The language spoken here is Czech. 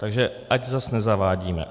Takže ať zase nezavádíme.